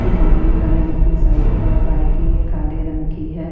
कुछ वाहन खड़े। जिसमें साइकिल और बाइक है काले रंग की है।